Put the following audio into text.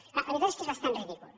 clar la veritat és que és bastant ridícul